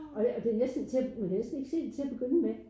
Og det og det næsten til du kan næste ikke se det til at begynde med